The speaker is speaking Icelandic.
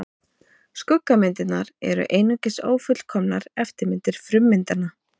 Skuggamyndirnar eru einungis ófullkomnar eftirmyndir frummyndanna.